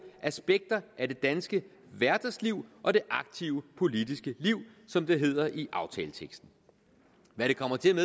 aspekter af det danske hverdagsliv og det aktive politiske liv som det hedder i aftaleteksten hvad det kommer til at